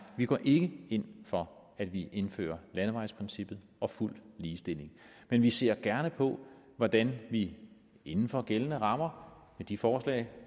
vi går ikke ind for at vi indfører landevejsprincippet og fuld ligestilling men vi ser gerne på hvordan vi inden for gældende rammer med de forslag